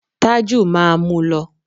Tájù máa mú lọ.